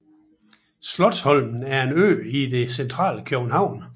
Slotsholmen er en ø i det centrale København